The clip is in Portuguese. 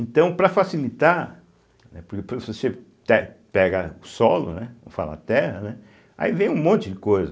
Então, para facilitar, né, porque se você pe pega o solo, né, vou falar terra, né, aí vem um monte de coisa.